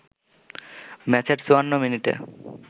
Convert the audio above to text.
ম্যাচের ৫৪ মিনিটে